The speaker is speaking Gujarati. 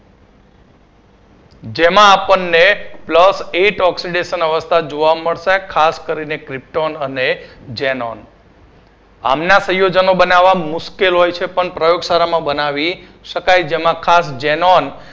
જેમાં આપણને plus eight oxidation અવસ્થા જોવા મળશે ખાસ કરીને krypton અને xenon આમના સંયોજનો બનવા મુશ્કેલ હોય છે પણ પ્રયોગશાળામા બનાવી શકાય જેમાં ખાસ xenon